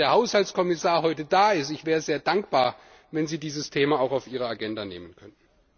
Gerade wenn der Haushaltskommissar heute da ist Ich wäre sehr dankbar, wenn Sie dieses Thema auch auf Ihre Agenda nehmen könnten.